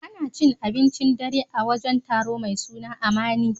Ana cin abincin dare a wajen taro mai suna Amani.